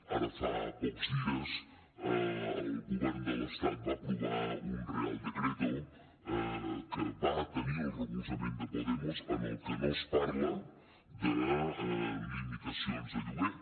ara fa pocs dies el govern de l’estat va aprovar un real decreto que va tenir el recolzament de podemos en el que no es parla de limitacions de lloguer